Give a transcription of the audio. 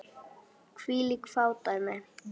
Hvílík fádæmi!